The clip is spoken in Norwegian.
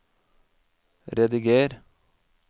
rediger